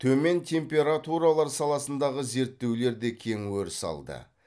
төмен температуралар саласындағы зерттеулер де кең өріс алды